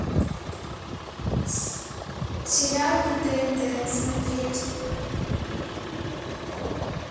сериалы на тнт смотреть